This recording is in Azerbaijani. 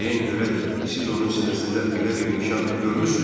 Deyin görək, siz onun sinəsində belə bir nişan görmüsünüzmü?